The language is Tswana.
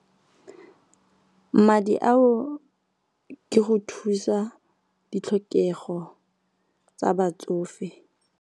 Madi ao ke go thusa ditlhokego tsa batsofe.